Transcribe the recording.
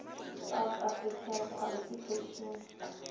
south african qualifications